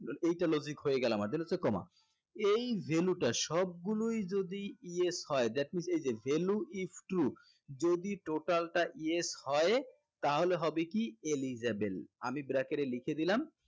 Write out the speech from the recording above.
এইটা logic হয়ে গেলো আমাদের then হচ্ছে comma এই value টা সবগুলোই যদি yes হয় that means এই যে value is to যদি total টা yes হয় তাহলে হবে কি eligible আমি bracket এ লিখে দিলাম